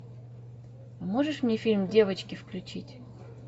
можешь мне фильм девочки включить